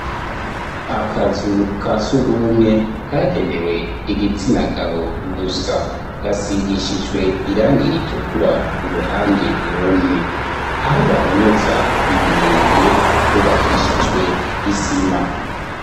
Akazu ka sugumwe kagenewe igitsina gabo gusa. Gasigishijwe irangi ritukura uruhande rumwe. Aho bahonyoza ibirenge hubakishijwe isima.